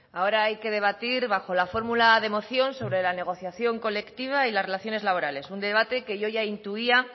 ahora hay que debatir bajo la fórmula de moción sobre la negociación colectiva y las relaciones laborales un debate que yo ya intuía